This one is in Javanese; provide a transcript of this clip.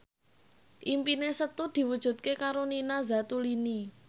impine Setu diwujudke karo Nina Zatulini